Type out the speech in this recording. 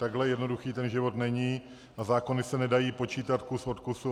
Takhle jednoduchý ten život není a zákony se nedají počítat kus od kusu.